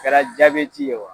Kɛra jabɛti ye wa